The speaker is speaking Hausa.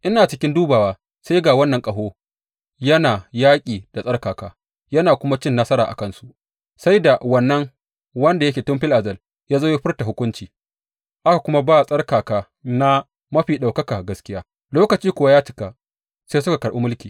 Ina cikin dubawa, sai ga wannan ƙaho yana yaƙi da tsarkaka yana kuma cin nasara a kansu, sai da Wannan wanda yake tun fil azal ya zo ya furta hukunci, aka kuma ba tsarkaka na Mafi Ɗaukaka gaskiya, lokaci kuwa ya cika sai suka karɓi mulki.